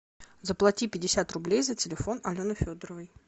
заплати пятьдесят рублей за телефон алены федоровой